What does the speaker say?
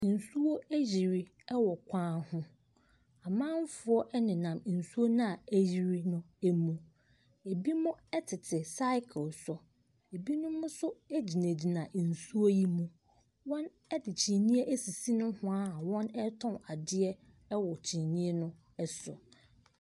Nsuo ayiri wɔ kwan ho. Amanfoɔ nennam nsuop no a ayiri no mu. Ebinom tete cycle so. Ebinom nso gyinagyina nsu yi mu. Wɔde kyiniiɛ asisi nohwaa a wɔretɔn adeɛ wɔ kyiniiɛ no ɛso.